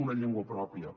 una llengua pròpia